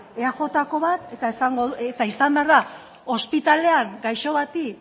eajko bat eta izan behar da ospitalean gaixo bati